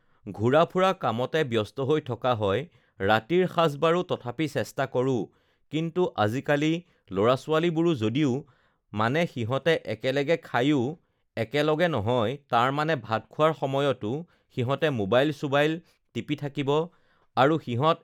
ঘূৰা ফুৰা কামতে ব্যস্ত হৈ থকা হয় ৰাতিৰ সাঁজ বাৰু তথাপি চেষ্টা কৰোঁ কিন্তু আজিকালি ল'ৰা-ছোৱালীবোৰো যদিও মানে সিহঁতে একেলগে খাইও একেলগে নহয় তাৰমানে ভাত খোৱাৰ সময়তো সিহঁতে মোৱাইল-চোবাইল টিপি থাকিব আৰু সিহঁত